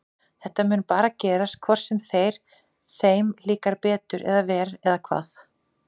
Þetta mun bara gerast hvort sem þeir, þeim líkar betur eða verr eða hvað?